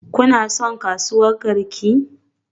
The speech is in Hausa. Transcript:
Kuna son kasuwar Garki?